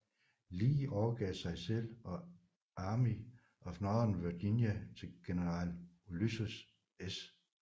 Lee overgav sig selv og Army of Northern Virginia til general Ulysses S